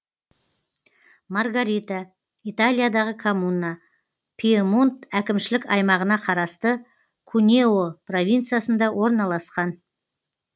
маргарита италиядағы коммуна пьемонт әкімшілік аймағына қарасты кунео провинциясында орналасқан